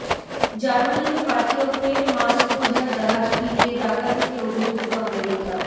জার্মানিতে পাঠিয়েও ফের মাস্কবোঝাই জাহাজ ফিরিয়ে ডাকাতিতে অভিযুক্ত আমেরিকা